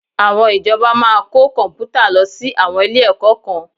Àwọn ìjọba máa kó Kọ̀m̀pútà lọ sí àwọn ilé-ẹ̀kọ́ kan